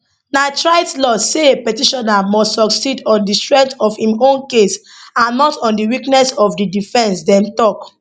na trite law say a petitioner must succeed on di strength of im own case and not on di weakness of di defence dem tok